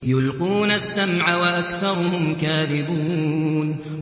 يُلْقُونَ السَّمْعَ وَأَكْثَرُهُمْ كَاذِبُونَ